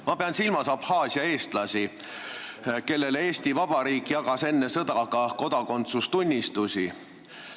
Ma pean silmas Abhaasia eestlasi, kellele Eesti Vabariik jagas enne sõda ka kodakondsustunnistusi.